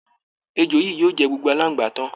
Èjò yìí yóò jẹ gbogbo aláǹgbá tán